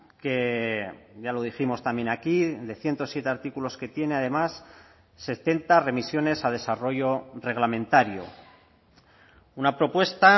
que ya lo dijimos también aquí de ciento siete artículos que tiene además setenta remisiones a desarrollo reglamentario una propuesta